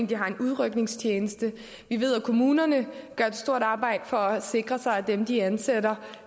de har en udrykningstjeneste vi ved at kommunerne gør et stort arbejde for at sikre at dem de ansætter